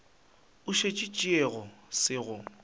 o se tšeago se go